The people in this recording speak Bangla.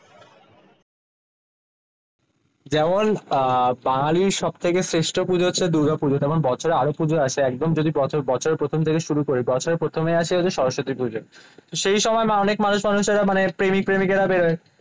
যেমন আহ বাঙালির সব থেকে শ্রেষ্ঠ পূজা হচ্ছে দুর্গাপুজো। তেমন বছরে আরো পুজো আছে একদম যদি বছর বছরের প্রথম থেকে শুরু করি বছর প্রথমে আসে সরস্বতী পুজো। সেই সময় অনেক মানুষ মানুষেরা মানে প্রেমিক-প্রেমিকারা বের হয়